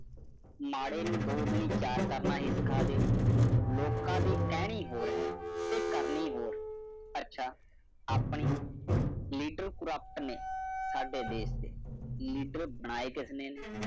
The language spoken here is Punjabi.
ਵਿਆਹ ਨਾ two ਦੁਨੀਆ Four ਕਰਨ ਹੀ ਸੇਖਰ ਦੇਯੋ ਲੋਕਾ ਦੀ ਕਹਿਰੀ ਹੋਰ ਹੈ ਕਰਨਾ ਹੈ ਰੰਗ ਤੁਸੀਂ ਖੋਲ੍ਹੋ ਨੇਤਾ ਭ੍ਰਿਸ਼ਟ ਨੇ ਉਦਾਸ ਦਿਨ ਉਥੇ ਨੇਤਾ ਬੜੈ ਕਿਸ ਦ ਨੈ